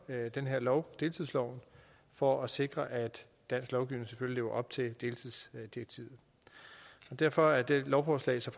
den her lov deltidsloven for at sikre at dansk lovgivning selvfølgelig lever op til deltidsdirektivet derfor er dette lovforslag så